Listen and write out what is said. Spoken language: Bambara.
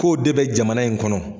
K'o de bɛ jamana in kɔnɔ.